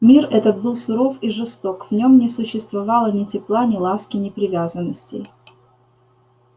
мир этот был суров и жесток в нём не существовало ни тепла ни ласки ни привязанностей